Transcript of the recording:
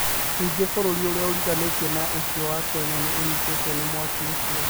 Ningĩ bũrũri ũrĩa ũriganĩtie na ũcio wa Kenya nĩ ũnyitĩtwo nĩ mwaki ũcio.